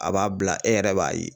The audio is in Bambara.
A b'a bila e yɛrɛ b'a ye